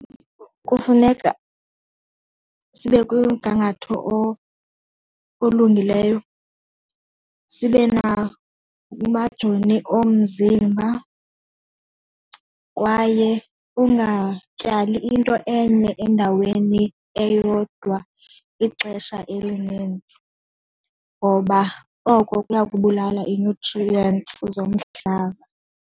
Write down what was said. Kufuneka sibe kumgangatho olulungileyo sibe nakumajoni omzimba, kwaye ungatyali into enye endaweni eyodwa ixesha elinintsi, ngoba oko kuya kubulala ii-nutrients zomhlaba.